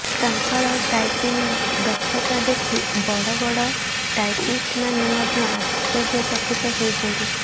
ତାଙ୍କର ଟାଇପିଂ ଦକ୍ଷତା ଦେଖି ବଡ଼ ବଡ଼ ଟାଇପିଷ୍ଟମାନେ ମଧ୍ୟ ଆଶ୍ଚର୍ଯ୍ୟଚକିତ ହେଉଛନ୍ତି